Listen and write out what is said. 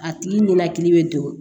A tigi ninakili bɛ don